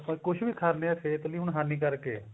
ਆਪਾਂ ਕੁਛ ਵੀ ਖਾਣੇ ਹਾਂ ਉਹ ਸਿਹਤ ਲਈ ਹਾਨਿਕਾਰਕ ਹੈ